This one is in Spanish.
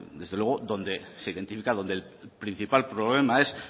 desde luego donde se identifica el principal problema que es